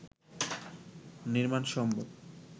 নির্মাণ সম্ভব